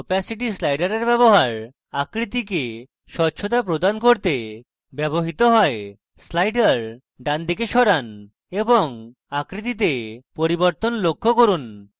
opacity slider ব্যবহার আকৃতিকে স্বচ্ছতা প্রদান করতে ব্যবহৃত হয় slider ডানদিকে সরান এবং আকৃতিতে পরিবর্তন লক্ষ্য করুন